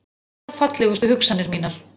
Allar fallegustu hugsanir mínar.